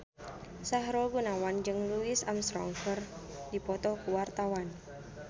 Sahrul Gunawan jeung Louis Armstrong keur dipoto ku wartawan